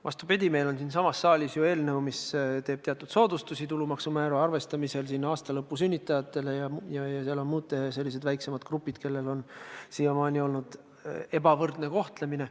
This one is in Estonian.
Vastupidi, meil on siinsamas saalis ju eelnõu, mis teeb tulumaksumäära arvestamisel teatud soodustusi aasta lõpus sünnitajatele ja seal on ka muud väiksemad grupid, kelle puhul on siiamaani esinenud ebavõrdset kohtlemist.